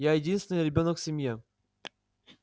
я единственный ребёнок в семье